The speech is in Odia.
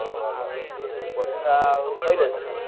ଅହ ଆଉ ପରୀକ୍ଷା ଆଉ ସଇଲାଣି ତାଙ୍କର?